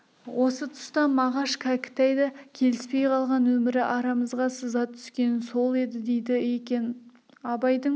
осы тұста мағаш кәкітай да келіспей қалған өмірі арамызға сызат түскені сол еді дейді екен абайдың